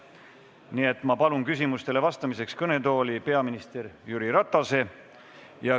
Nii et ma palun küsimusustele vastamiseks kõnetooli peaminister Jüri Ratase.